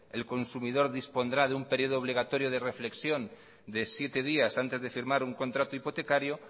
el consumidor dispondrá de un periodo obligatorio de reflexión de siete días antes de firmar un contrato hipotecario